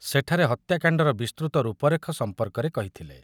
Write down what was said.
ସେଠାରେ ହତ୍ୟାକାଣ୍ଡର ବିସ୍ତୃତ ରୂପରେଖ ସମ୍ପର୍କରେ କହିଥିଲେ ।